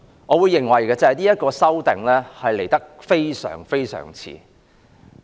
我認為這項《條例草案》來得非常遲。